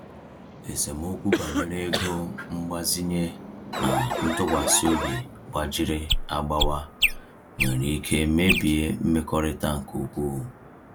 Esemokwu banyere ego mgbazinye na ntụkwasị obi gbajiri agbawa nwere ike mebie mmekọrịta nke ukwuu.